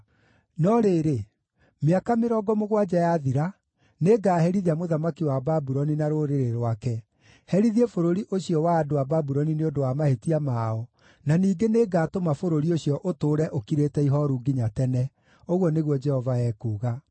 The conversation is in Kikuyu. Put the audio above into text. “No rĩrĩ, mĩaka mĩrongo mũgwanja yathira, nĩngaherithia mũthamaki wa Babuloni na rũrĩrĩ rwake, herithie bũrũri ũcio wa andũ a Babuloni nĩ ũndũ wa mahĩtia mao, na ningĩ nĩngatũma bũrũri ũcio ũtũũre ũkirĩte ihooru nginya tene,” ũguo nĩguo Jehova ekuuga.